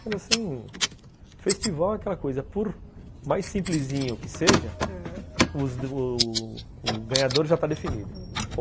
Mas assim, festival é aquela coisa, por mais simplesinho que seja, ãh, o ganhador já está definido.